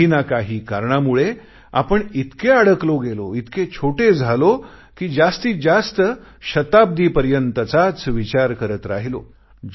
काही ना काही कारणामुळे आपण इतके अडकले गेलो एवढे छोटे झालो कि जास्तीत जास्त शताब्दीपर्यंतचाच विचार करत राहिलो